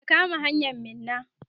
ka kama hanyan Minna!